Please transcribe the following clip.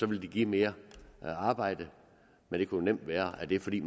det give mere arbejde men det kunne nemt være at det er fordi